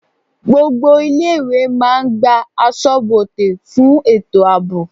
Gbogbo ilé-ìwé máa n gba asọ́bodè fún ètò ààbò.